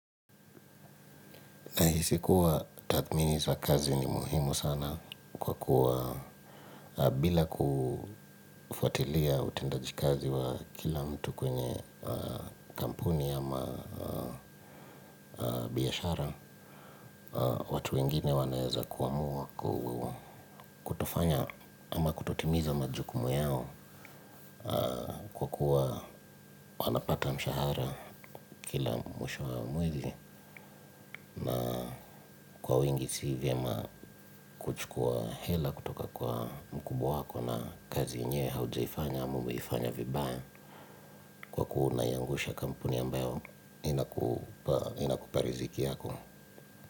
Nahisi kuwa tathmini sa kazi ni muhimu sana kwa kuwa bila kufuatilia utendaji kazi wa kila mtu kwenye kampuni ama biyashara. Watu wengine wanayeza kuwa muwa kutofanya ama kutotimiza majukumu yao kwa kuwa wanapata mshahara kila mwisho wa mwili. Kwa wengi si vyema kuchukua hela kutoka kwa mkubwa wako na kazi yenyewe hauja ifanya, ama umeifanya vibaya kuwa unaiangusha kampuni ambayo inakupa riziki yako.